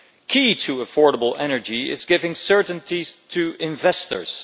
Key to affordable energy is giving certainties to investors.